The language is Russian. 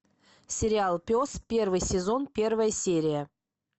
сериал пес первый сезон первая серия